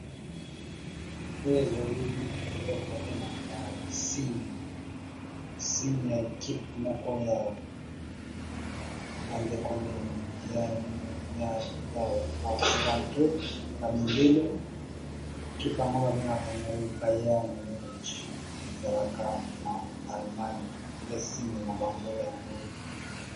Oyo ezali eloko babengaka signe eza ya bato oyo babeta ndembo ya makolo